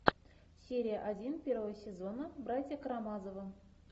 серия один первого сезона братья карамазовы